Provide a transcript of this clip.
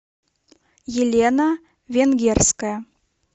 елена венгерская